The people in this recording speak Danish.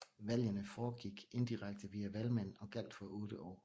Valgene foregik indirekte via valgmænd og gjaldt for 8 år